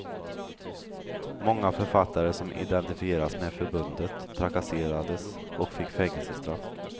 Många författare som identifierades med förbundet trakasserades och fick fängelsestraff.